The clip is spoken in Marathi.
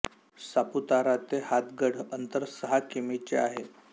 सापुतारा ते हातगड अंतर सहा कि मी चे आहे